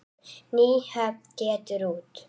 Nýhöfn getur út.